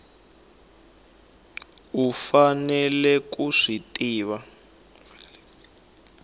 u faneleke ku swi tiva